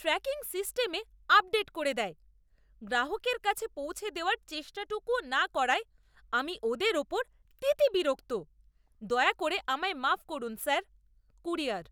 Tracking সিস্টেমে update করে দেয়। গ্রাহকের কাছে পৌঁছে দেওয়ার চেষ্টাটুকুও না করায় আমি ওদের উপর তিতিবিরক্ত, দয়া করে আমায় মাফ করুন, স্যার। কুরিয়ার